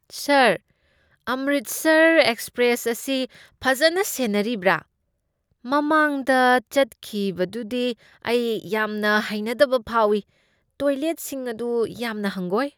ꯁꯥꯔ, Amritsar express ꯑꯁꯤ ꯐꯖꯅ ꯁꯦꯟꯅꯔꯤꯕ꯭ꯔꯥ? ꯃꯃꯥꯡꯗ ꯆꯠꯈꯤꯕꯗꯨꯗꯤ ꯑꯩ ꯌꯥꯝꯅ ꯍꯩꯅꯗꯕ ꯐꯥꯎꯢ ꯫ ꯇꯣꯏꯂꯦꯠꯁꯤꯡ ꯑꯗꯨ ꯌꯥꯝꯅ ꯍꯪꯒꯣꯏ꯫